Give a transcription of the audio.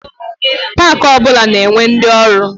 Pak ọ bụla na-enwe ndi ọrụ.